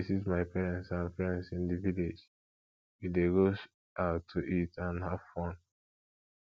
i dey visit my parents and friends in di village we dey go out to eat and have fun